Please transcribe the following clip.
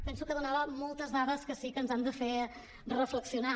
penso que donava moltes dades que sí que ens han de fer reflexionar